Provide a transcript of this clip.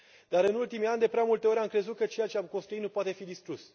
Dar, în ultimii ani, de prea multe ori am crezut că ceea ce am construit nu poate fi distrus.